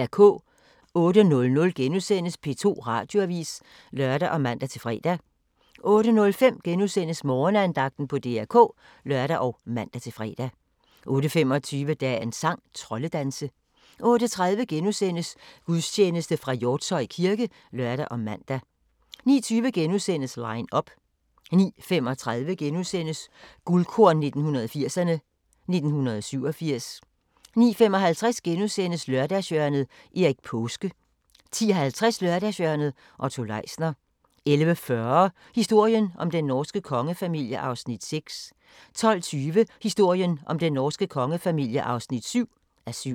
08:00: P2 Radioavis *(lør og man-fre) 08:05: Morgenandagten på DR K *(lør og man-fre) 08:25: Dagens sang: Troldedanse 08:30: Gudstjeneste fra Hjortshøj kirke *(lør og man) 09:20: Line up * 09:35: Guldkorn 1980'erne: 1987 * 09:55: Lørdagshjørnet – Erik Paaske * 10:50: Lørdagshjørnet - Otto Leisner 11:40: Historien om den norske kongefamilie (6:7) 12:20: Historien om den norske kongefamilie (7:7)